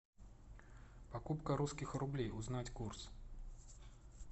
покупка русских рублей узнать курс